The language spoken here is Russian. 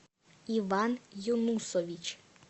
иван юнусович